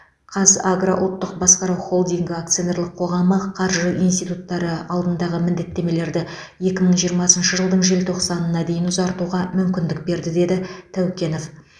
қазагро ұлттық басқару холдингі акционерлік қоғамы қаржы институттары алдындағы міндеттемелерді екі мың жиырмасыншы жылдың желтоқсанына дейін ұзартуға мүмкіндік берді деді тәукенов